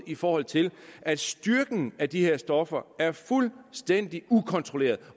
i forhold til at styrken af de her stoffer er fuldstændig ukontrolleret